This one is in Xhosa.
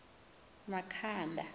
makhanda